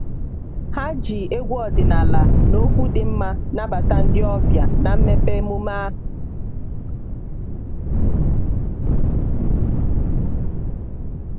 ha ji egwu ọdịnala na okwu dị mma nabata ndị ọbịa na mmepe emume ahụ